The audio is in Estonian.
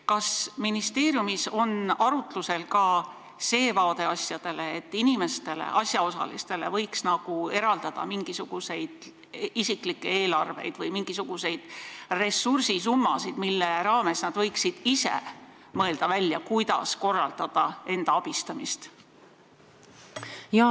Kas ministeeriumis on arutlusel ka see vaade, et inimestele, asjaosalistele, võiks eraldada isiklikke eelarvevahendeid või mingisuguseid summasid, mille piires nad võiksid ise välja mõelda, kuidas enda abistamist korraldada?